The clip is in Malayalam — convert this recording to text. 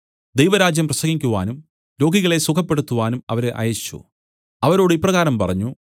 ദൈവരാജ്യം പ്രസംഗിക്കുവാനും രോഗികളെ സുഖപ്പെടുത്തുവാനും അവരെ അയച്ചു അവരോട് ഇപ്രകാരം പറഞ്ഞു